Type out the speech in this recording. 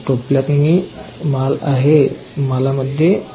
टोपल्यात ही माल आहे मालामध्ये --